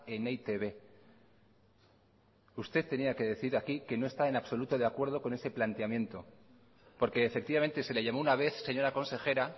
en e i te be usted tenía que decir aquí que no está en absoluto de acuerdo con ese planteamiento porque efectivamente se le llamó una vez señora consejera